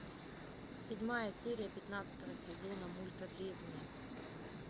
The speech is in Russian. седьмая серия пятнадцатого сезона мульта древние